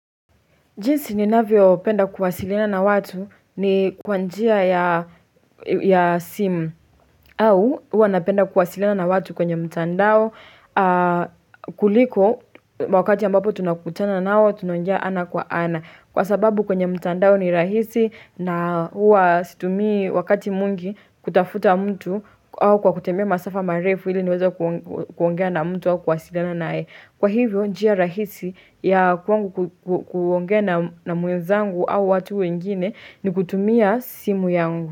Jinsi ninavyo penda kuwasiliana na watu ni kwa njia ya simu au hua napenda kuwasilina na watu kwenye mtandao kuliko wakati ambapo tunakutana nao tunaongea ana kwa ana. Kwa sababu kwenye mtandao ni rahisi na hua situmi wakati mwingi kutafuta mtu au kwa kutembea masafa marefu ili niweza kuongea na mtu au kuwasiliana nae. Kwa hivyo njia rahisi ya kwangu kuongea na mwenzangu au watu wengine ni kutumia simu yangu.